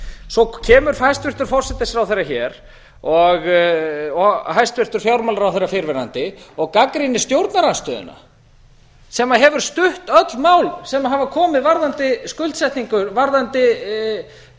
svo kemur hæstvirtur forsætisráðherra hér og hæstvirtur fjármálaráðherra fyrrverandi og gagnrýnir stjórnarandstöðuna sem hefur stutt öll mál sem hafa komið varðandi skuldsetningu varðandi